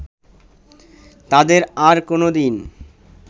তাদের আর কোনো দিন